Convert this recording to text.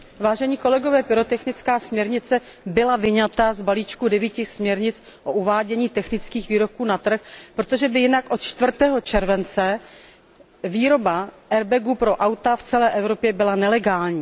Paní předsedající, pyrotechnická směrnice byla vyňata z balíčku devíti směrnic o uvádění technických výrobků na trh, protože by jinak od čtvrtého července výroba airbagů pro auta v celé Evropě byla nelegální.